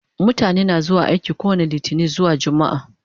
Mutane na zuwa aiki kowani litinin zuwa jumaa